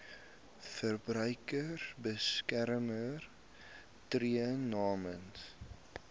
verbruikersbeskermer tree namens